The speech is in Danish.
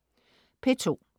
P2: